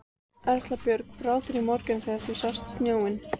Erla Björg: Brá þér í morgun þegar þú sást snjóinn?